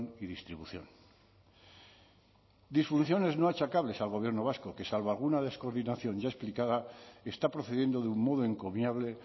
y distribución disfunciones no achacables al gobierno vasco que salvo alguna descoordinación ya explicada está procediendo de un modo encomiable